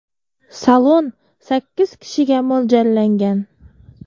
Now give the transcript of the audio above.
Salon sakkiz kishiga mo‘ljallangan.